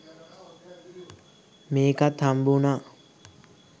මේකත් හම්බුනා